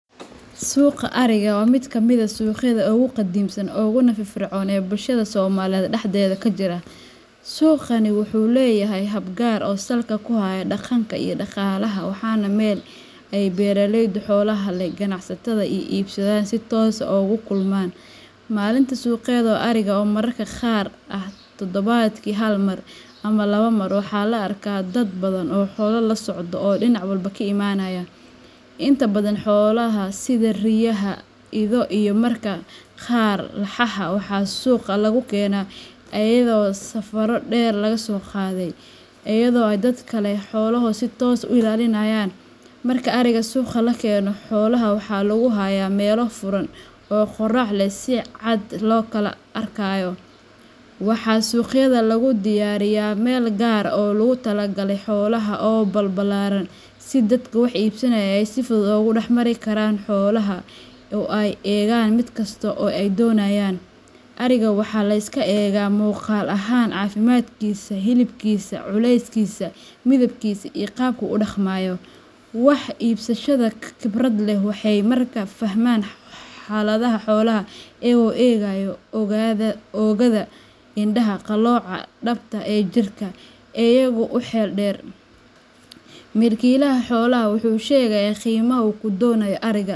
Suuqa ariga waa mid ka mid ah suuqyada ugu qadiimsan uguna firfircoon ee bulshada Soomaaliyeed dhexdeeda ka jira. Suuqani wuxuu leeyahay hab gaar ah oo salka ku haya dhaqanka iyo dhaqaalaha, waana meel ay beeraleyda xoolaha leh, ganacsatada, iyo iibsadayaashu si toos ah ugu kulmaan. Maalinta suuqeed ee ariga oo mararka qaar ah toddobaadkii hal mar ama laba mar waxaa la arkaa dad badan oo xoolo la socda oo dhinac walba ka imanaya. Inta badan xoolaha sida riyaha, ido, iyo mararka qaar laxaha, waxaa suuqa lagu keenaa iyadoo safarro dheer la soo qaaday, iyada oo ay dadka leh xoolaha ay si toos ah u ilaaliyaan. Marka ariga suuqa la keeno, xoolaha waxaa lagu hayaa meelo furan oo qorrax leh oo si cad loo kala arkayo. Waxaa suuqyada lagu diyaariyaa meel gaar ah oo loogu talagalay xoolaha oo balballaaran, si dadka wax iibsanaya ay si fudud ugu dhex mari karaan xoolaha oo ay u eegaan mid kasta oo ay danaynayaan. Ariga waxaa la iska eegaa muuqaal ahaan, caafimaadkiisa, hilibkiisa, culeyskiisa, midabkiisa, iyo qaabka uu u dhaqmayo. Wax iibsadayaasha khibradda leh waxay markiiba fahmaan xaaladda xoolaha iyaga oo eegaya oogada, indhaha, qalooca dhabta ah ee jirka, iyo dhaqdhaqaaqa guud ee ariga. Qaabka iibsigu inta badan wuxuu ku bilowdaa gorgortan dhaqan ah oo aad u xeel dheer. Milkiilaha xoolaha wuxuu sheegayaa qiimaha uu ku doonayo ariga.